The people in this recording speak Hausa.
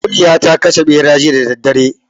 Kuliya ta kashe ɓera jiya da daddare